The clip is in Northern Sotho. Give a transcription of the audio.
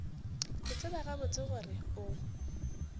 ke tseba gabotse gore o